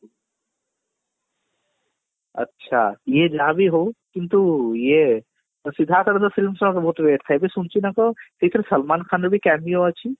ଆଛା ଇଏ ଯାହାବି ହଉ କିନ୍ତୁ ଇଏ କିନ୍ତୁ ସିଦ୍ଧାର୍ଥ ର ଯୋଉ films ଗୁଡାକ ବହୁତ wait ଥାଏ ଏଥିରେ ସଲମାନ ଖାନ ର ବି cameo ଅଛି